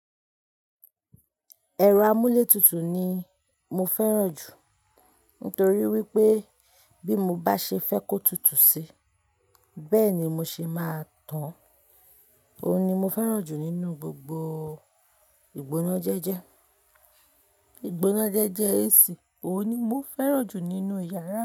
Ẹ̀rọ amúlétutù ni mo fẹ́ràn jù nítorí wí pé bí mo bá ṣe fẹ́ kó tutù sí, bẹ́ẹ̀ ni mo ṣe máa tán. Òun ni mo fẹ́ràn jù nínú gbogbo ìgbónájẹ́jẹ́. Ìgbónájẹ́jẹ́ AC, òun ni mo fẹ́ràn jù nínú yàrá mi.